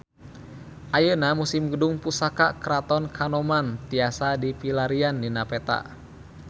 Ayeuna Museum Gedung Pusaka Keraton Kanoman tiasa dipilarian dina peta